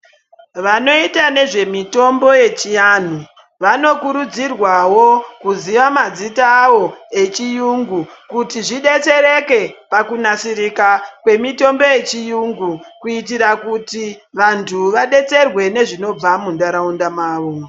Vanoite nezvemitombo yechiantu vanokurudzirwawo kuziya mazita ayo echiyungu kuti zvidetsereke pakunasira kwemitombo yechiyungu kuitira kuti vantu vadetserwe nezvinobva muntaraunda mavo.